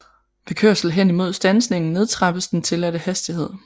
Ved kørsel hen imod standsning nedtrappes den tilladte hastighed